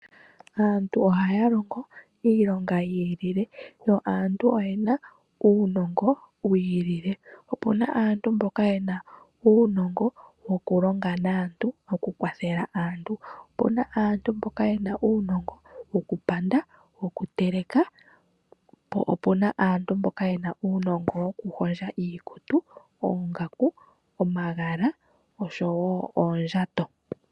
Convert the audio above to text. Aantu ohaya longo iilonga yi ilile. Yo oye na uunongo wi ilile. Opu na aantu mboka ye na uunongo wokulonga naantu okukwathela aantu. Opu na aantu mboka ye na uunongo wokupanda, wokuteleka po opu na aantu mboka ye na uunongo wokuhondja iikutu, oongaku, omagala oshowo oondjato.